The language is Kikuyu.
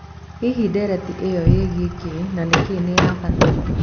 Hihi ndereti ĩyo yĩgĩe kĩĩ na nĩkĩ nĩ ya bata.